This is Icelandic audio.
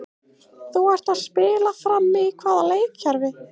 Þú ert að spila frammi í hvaða leikkerfi?